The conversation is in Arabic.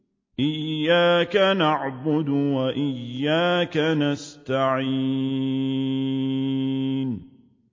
إِيَّاكَ نَعْبُدُ وَإِيَّاكَ نَسْتَعِينُ